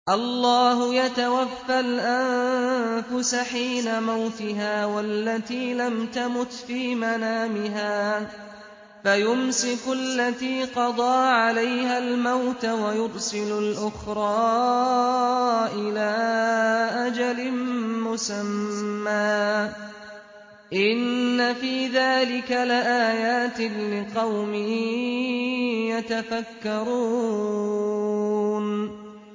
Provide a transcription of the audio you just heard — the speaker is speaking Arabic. اللَّهُ يَتَوَفَّى الْأَنفُسَ حِينَ مَوْتِهَا وَالَّتِي لَمْ تَمُتْ فِي مَنَامِهَا ۖ فَيُمْسِكُ الَّتِي قَضَىٰ عَلَيْهَا الْمَوْتَ وَيُرْسِلُ الْأُخْرَىٰ إِلَىٰ أَجَلٍ مُّسَمًّى ۚ إِنَّ فِي ذَٰلِكَ لَآيَاتٍ لِّقَوْمٍ يَتَفَكَّرُونَ